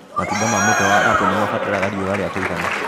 Matunda ma mũtĩ wa apple nĩmabataraga riũa ria kũigana.